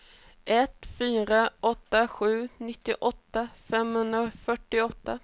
ett fyra åtta sex nittioåtta femhundrafyrtioåtta